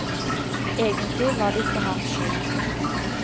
Egentlig var det ikke hans skyld.